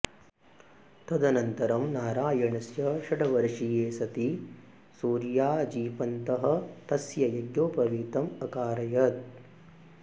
तदनन्तरं नारायणस्य षड्वर्षीये सति सूर्याजीपन्तः तस्य यज्ञोपवितम् अकारयत्